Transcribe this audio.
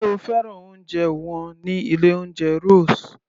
Sé o fẹ́ràn oúnjẹ wọn ní ilé oúnjẹ Rose?